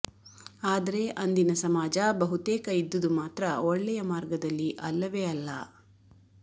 ಆದರೆ ಅಂದಿನ ಸಮಾಜ ಬಹುತೇಕ ಇದ್ದುದು ಮಾತ್ರ ಒಳ್ಳೆಯ ಮಾರ್ಗದಲ್ಲಿ ಅಲ್ಲವೇ ಅಲ್ಲ